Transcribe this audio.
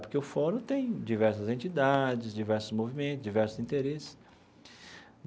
Porque o fórum tem diversas entidades, diversos movimentos, diversos interesses.